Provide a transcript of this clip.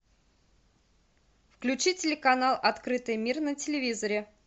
включи телеканал открытый мир на телевизоре